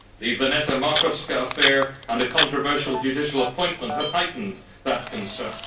The Veneta Markovska affair and a controversial judicial appointment have heightened that concern.